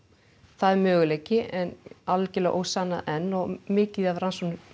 það er möguleiki en algerlega ósannað enn og mikið af rannsóknum